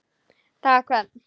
dag hvern